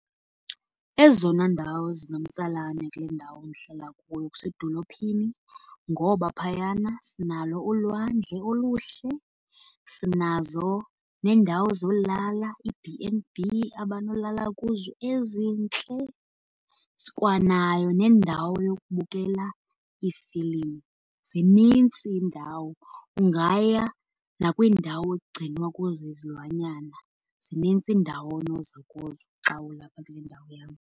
Ezona ndawo zinomtsalane kule ndawo ndihlala kuyo kusedolophini. Ngoba phayana sinalo ulwandle oluhle, sinazo neendawo zolala, iiB and B abanolala kuzo ezintle. Sikwanayo nendawo yokubukela iifilimu. Zinintsi iindawo, ungaya nakwindawo ekugcinwa kuzo izilwanyana. Zinintsi iindawo onoza kuzo xa ulapha kule ndawo yam.